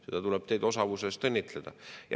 Teid tuleb osavuse eest õnnitleda.